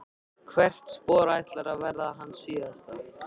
Hvert spor ætlar að verða hans síðasta.